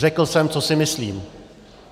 Řekl jsem, co si myslím.